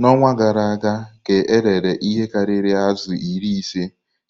N'ọnwa gara aga ka erere ihe karịrị azụ iri ise